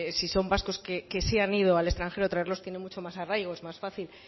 si son vascos que se han ido al extranjero traerlos tiene mucho más arraigo es más fácil